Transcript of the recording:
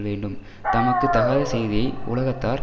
வேண்டும் தமக்கு தகாத செய்தியை யுலகத்தார்